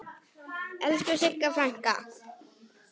Elsku Sigga frænka.